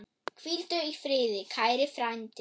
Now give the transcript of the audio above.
Hvíldu í friði, kæri frændi.